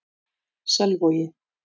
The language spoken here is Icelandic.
Selvogi